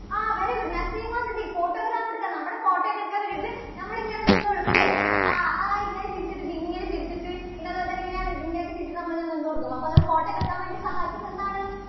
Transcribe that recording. ആ very good. Naseema Siddique. photograph എടുക്കാൻ. നമ്മുടെ photo ഒക്കെ എടുക്കാൻ വേണ്ടിയിട്ട് നമ്മള് ഇങ്ങനെ നിന്നു കൊടുക്കും അല്ലേ? ആ, ആ ഇങ്ങനെ ചിരിച്ചിട്ട് ദേ ഇങ്ങനെ ചിരിച്ചിട്ട് പിന്നെ അതുപോലെ തന്നെ എങ്ങനെയാണ് ഇത് ഇങ്ങനെയൊക്കെ ചിരിച്ചിട്ട് നമ്മൾ ഇങ്ങനെ നിന്നു കൊടുക്കും അപ്പോൾ അങ്ങനെ photo ഒക്കെ എടുക്കാൻ വേണ്ടി സഹായിക്കുന്നത് എന്താണ്